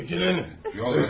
Çəkilin, yol verin.